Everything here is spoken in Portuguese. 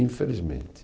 Infelizmente.